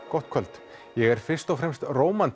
gott kvöld ég er fyrst og fremst